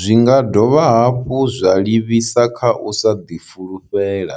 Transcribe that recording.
Zwi nga dovha hafhu zwa livhisa kha u sa ḓifulufhela,